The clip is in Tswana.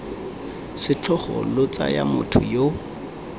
setlhogo lo tsaya motho yo